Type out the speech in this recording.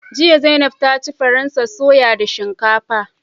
Jiya Zainab ta ci faransa soya da shinkafa